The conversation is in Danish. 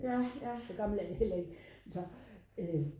så gammel er jeg heller ikke